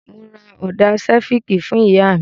Mo ra Ọ́ńdá sifìkì fún ìyá mi.